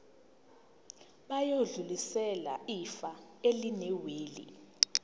bayodlulisela ifa elinewili